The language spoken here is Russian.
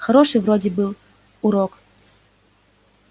хороший вроде был урок